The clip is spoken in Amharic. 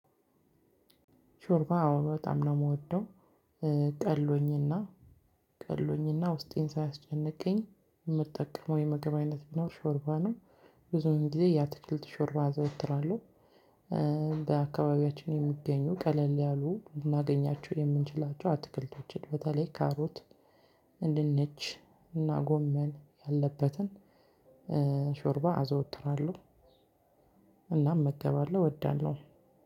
ሾርባ በጣም ነው የምወደው። ቀሎኝና ቀሎኝና ውስጤን ሳያስጨንቀኝ የምጠቀመው የምግብ አይነት ቢኖር ሾርባ ነው። ብዙውን ጊዜ የአትክልት ሾርባ አዘወትራለሁ። በአካባቢያችን የሚገኙ ቀለል ያሉ ልናገኛቸው የምንችላቸው አትክልቶችን በተለይ ካሮት፣ ድንች እና ጎመን ያለበትን ሾርባ አዘወትራለሁ። እናም እመገባለሁ። እወዳለሁም።